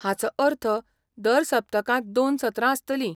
हाचो अर्थ दर सप्तकांत दोन सत्रां आसतलीं.